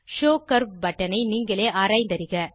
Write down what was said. show curve பட்டனை நீங்களே ஆராய்ந்தறிக